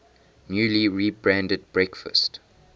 newly rebranded breakfast